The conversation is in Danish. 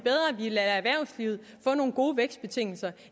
lader erhvervslivet få nogle gode vækstbetingelser